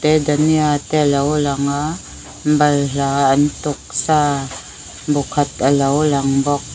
dania te a lo lang a balhla an tuk sa bu khat a lo lang bawk.